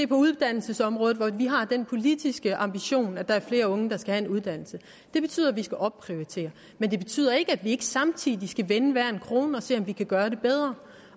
på uddannelsesområdet hvor vi har den politiske ambition at der er flere unge der skal have en uddannelse det betyder at vi skal opprioritere men det betyder ikke at vi ikke samtidig skal vende hver en krone og se om vi kan gøre det bedre